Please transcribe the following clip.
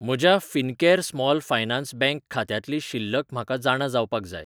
म्हज्या Fincare Small Finance Bank खात्यांतली शिल्लक म्हाका जाणा जावपाक जाय.